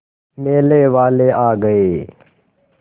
मेले वाले आ गए